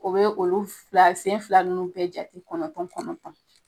O bɛ olu fila sen fila ninnu bɛɛ jate kɔnɔntɔn kɔnɔntɔn